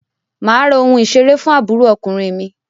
Mà á ra ohun ìṣeré fún àbúrò ọkùnrin mi.